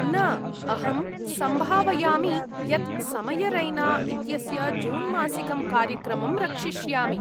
न, अहं सम्भावयामि यत् समयरैना इत्यस्य जूनमासिकं कार्यक्रमं रक्षिष्यामि।